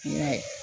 I m'a ye